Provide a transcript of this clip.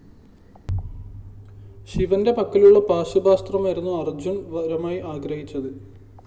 ശിവന്റെ പക്കലുള്ള പാശുപതാസ്ത്രമായിരുന്നു അര്‍ജ്ജുന്‍ വരമായി ആഗ്രഹിച്ചത്